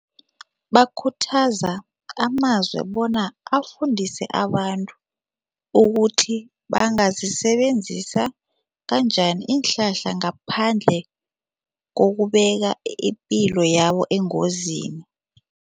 Bakhuthaza amazwe bona afundise abantu ukuthi bangazisebenzisa kanjani iinhlahla ngaphandle kokubeka ipilo yabo engozini.